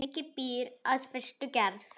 Lengi býr að fyrstu gerð.